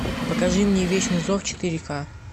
покажи мне вечный зов четыре ка